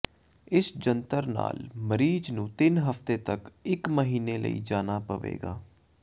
ਇਸ ਜੰਤਰ ਨਾਲ ਮਰੀਜ਼ ਨੂੰ ਤਿੰਨ ਹਫ਼ਤੇ ਤੱਕ ਇੱਕ ਮਹੀਨੇ ਲਈ ਜਾਣਾ ਪਵੇਗਾ